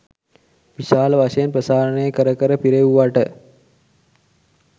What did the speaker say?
විශාල වශයෙන් ප්‍රසාරණය කර කර පිරෙව්වට